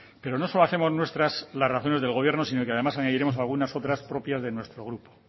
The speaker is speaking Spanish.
pero no solo hacemos nuestras las razones del gobierno sino que además añadiremos algunas otras propias de nuestro grupo